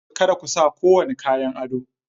Kada ku sa kowane kayan ado!